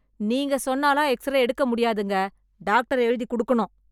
நீங்க சொன்னாலாம் எக்ஸ்-ரே எடுக்க முடியாதுங்க.. டாக்டர் எழுதிக் குடுக்கணும்.